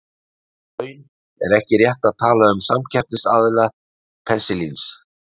Í raun er ekki rétt að tala um samkeppnisaðila penisilíns.